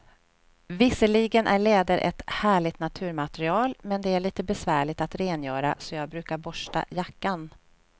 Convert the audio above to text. Visserligen är läder ett härligt naturmaterial, men det är lite besvärligt att rengöra, så jag brukar borsta jackan.